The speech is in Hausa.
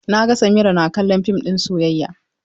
Na ga Samira na kallon fim ɗin soyayya.